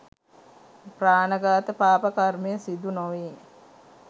ප්‍රාණඝාත පාප කර්මය සිදුනොවේ.